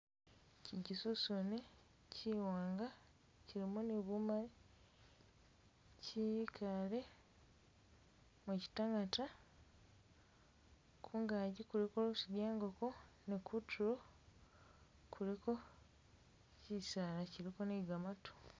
Chino chisosome chiwanga chilimo ni bumali chikale mukitangata khungaki kuliko.... bye ingoko ne kutulo kuliko chisala chiliko ne gamatu.